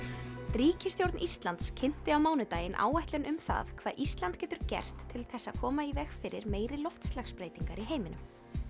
ríkisstjórn Íslands kynnti á mánudaginn áætlun um það hvað Ísland getur gert til að koma í veg fyrir meiri loftslagsbreytingar í heiminum